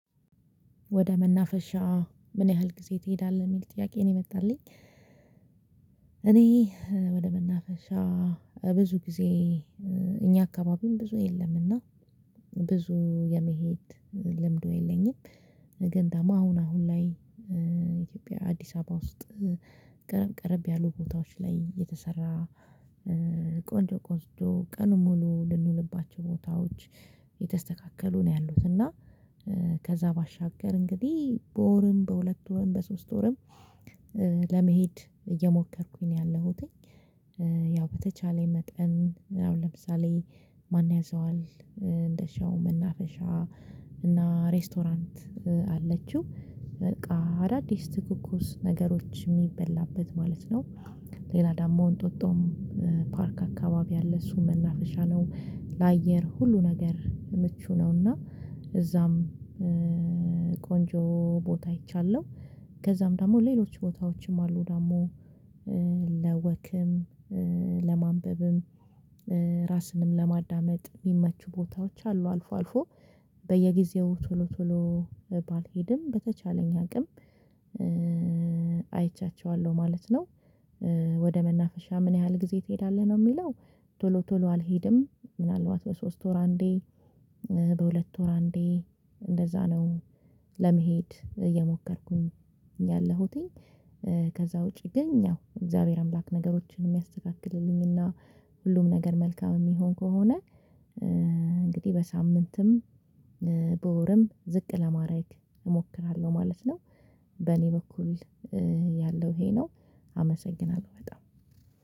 ወደ መናፈሻ ምን ያህል ጊዜ ትሄዳለህ ሚል ጥያቄ ነው የመጣልኝ? እኔ ወደ መናፈሻ ብዙ ጊዜ እኛ አካባቢም ብዙ የለም እና ብዙ የመሄድ ልምዱ የለኝም። ግን ዳማ አሁን አሁን ላይ ኢትዮጵያ አዲስ አባ ውስጥ ቀረብ ቀረብ ያሉ ቦታዎች ላይ የተሰራ ቆንጆ ቆስጆ ቀኑን ሙሉ ልንውልባቸው ቦታዎች የተስተካከሉ ነው ያሉት እና ከዛ ባሻገር እንግዲህ በወርም በሁለት ወርም በሶስት ወርም ለመሄድ እየሞከርኩኝ ነው ያለሁትኝ። ያው በተቻለኝ መጠን አሁን ለምሳሌ ማንያዘዋል እንደሻው መናፈሻ እና ሬስቶራንት አለችው በቃ አዳዲስ ትኩኩስ ነገሮች ሚበላበት ማለት ነው። ሌላ ደሞ እንጦጦም ፓርክ አካባቢ አለ እሱ መናፈሻ ነው ለአየር ሁሉ ነገር ምቹ ነው። እና እዛም ቆንጆ ቦታ አይቻለሁ። ከዛም ደግሞ ሌሎች ቦታዎችም አሉ ደግሞ ለወክም ለማንበብም ራስንም ለማዳመጥ ሚመቹ ቦታዎች አሉ። አልፎ አልፎ በየጊዜው ቶሎ ቶሎ ባልሄድም በተቻለኝ አቅም አይቻቸዋለሁ ማለት ነው። ወደ መናፈሻ ምን ያህል ጊዜ ትሄዳለህ ነው ሚለው? ቶሎ ቶሎ አልሄድም ምናልባት በሶስት ወር አንዴ በሁለት ወር አንዴ እንደዛ ነው። ለመሄድ እየሞከርኩኝ ያለሁትኝ ከዛ ውጪ ግን ያው እግዚአብሔር አምላክ ነገሮችን እሚያስተካክልልኝ እና ሁሉም ነገር መልካም እሚሆን ከሆነ። እንግዲህ በሳምንትም በወርም ዝቅ ለማረግ እሞክራለሁ ማለት ነው። በኔ በኩል ያለው ይሄ ነው። አመሰግናለሁ በጣም።